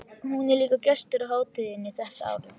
Hún er líka gestur á hátíðinni þetta árið.